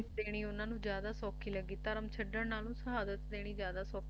ਸ਼ਹਾਦਤ ਦੇਣੀ ਉਨ੍ਹਾਂ ਨੂੰ ਜਿਆਦਾ ਸੌਖੀ ਲੱਗੀ ਦੇਣੀ ਉਨ੍ਹਾਂ ਨੂੰ ਜਿਆਦਾ ਸੌਖੀ ਧਰਮ ਛੱਡਣ ਨਾਲੋਂ ਸ਼ਹਾਦਤ ਦੇਣੀ ਜਿਆਦਾ ਸੌਖੀ ਲੱਗੀ